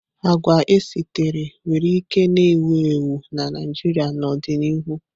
Agwa esitere nwere ike na-ewu ewu na Naịjirịa n'ọdịnihu.